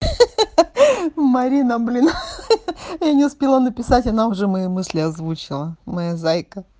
ха-ха марина блин ха-ха я не успела написать она уже мои мысли озвучила моя зайка